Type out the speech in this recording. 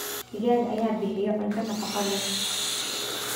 Digaagga ayaa bixiya cunto nafaqo leh.